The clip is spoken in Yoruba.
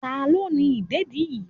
Ta ló ni ìdẹ̀dí yí?